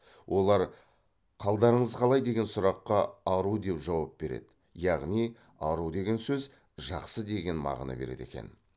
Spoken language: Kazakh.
олар қалдарыңыз қалай деген сұраққа ару деп жауап береді яғни ару деген сөз жақсы деген мағына береді екен